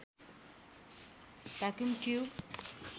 vacuum tube